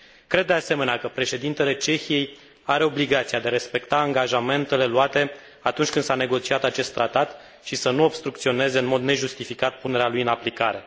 Cred, de asemenea, că președintele Cehiei are obligația de a respecta angajamentele luate atunci când s a negociat acest tratat și să nu obstrucționeze în mod nejustificat punerea lui în aplicare.